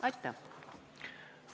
Aitäh!